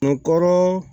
Kun kɔrɔ